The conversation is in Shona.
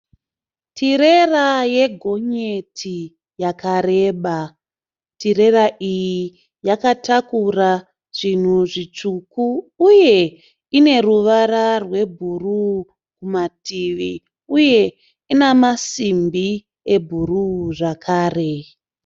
Tirera ye gonyeti yakareba. Tirera iyi yakatakura zvinhu zvitsvuku uye ine ruvara rwe bhuruu kumativi. Uye ina masimbi e bhuruu zvakare.